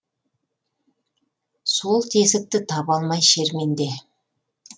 сол тесікті таба алмай шерменде